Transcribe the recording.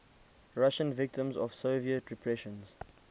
russian victims of soviet repressions